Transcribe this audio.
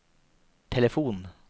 telefon